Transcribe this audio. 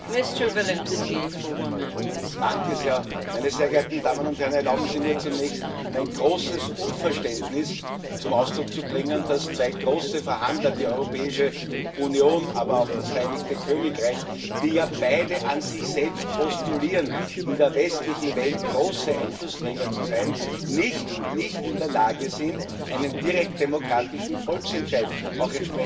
Frau Präsidentin, meine sehr geehrten Damen und Herren! Erlauben Sie mir, zunächst mein großes Unverständnis dafür zum Ausdruck zu bringen, dass zwei große Verhandler die Europäische Union, aber auch das Vereinigte Königreich, die ja beide an sich selbst postulieren, in der westlichen Welt große Einflussträger zu sein nicht und nicht in der Lage sind, einen direkt demokratischen Volksentscheid entsprechend umzusetzen.